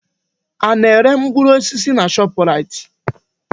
Ana-ere mkpụrụ osisi na Shọpraịt?